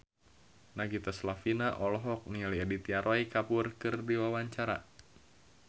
Nagita Slavina olohok ningali Aditya Roy Kapoor keur diwawancara